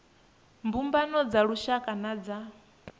mbumbano dza lushaka na dza